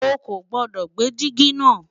ọ kò gbodò gbé jìgì na